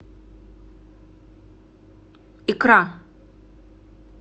икра